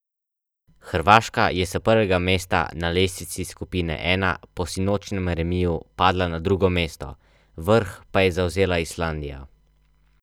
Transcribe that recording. Še skupaj s Hrvaško ne zadovolji apetitov čezmorskih gostov.